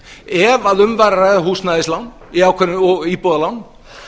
ef um var að ræða húsnæðislán og íbúðalán